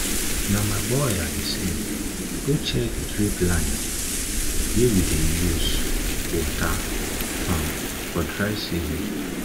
na my boy i dey send go check drip line check drip line wey we dey use water farm for dry season